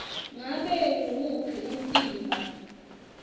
ngabe nguwuphi umtimba